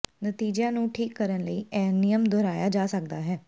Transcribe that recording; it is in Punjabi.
ਨਤੀਜਿਆਂ ਨੂੰ ਠੀਕ ਕਰਨ ਲਈ ਇਹ ਨਿਯਮ ਦੁਹਰਾਇਆ ਜਾ ਸਕਦਾ ਹੈ